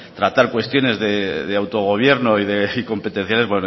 tratar cuestiones de autogobierno y competenciales